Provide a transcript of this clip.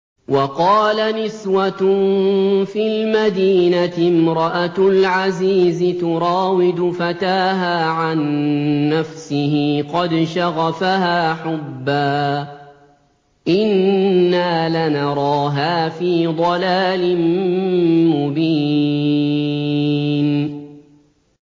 ۞ وَقَالَ نِسْوَةٌ فِي الْمَدِينَةِ امْرَأَتُ الْعَزِيزِ تُرَاوِدُ فَتَاهَا عَن نَّفْسِهِ ۖ قَدْ شَغَفَهَا حُبًّا ۖ إِنَّا لَنَرَاهَا فِي ضَلَالٍ مُّبِينٍ